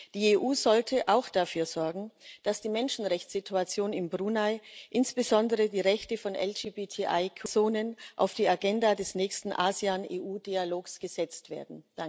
Die EU sollte auch dafür sorgen, dass die Menschenrechtssituation in Brunei, insbesondere die Rechte von LGBTIQ Personen, auf die Agenda des nächsten ASEAN EU Dialogs gesetzt werden.